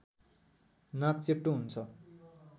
नाक चेप्टो हुन्छ